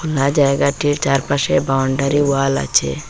আর জায়গাটির চারপাশে boundary wall আছে।